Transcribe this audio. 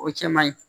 O cɛ man ɲi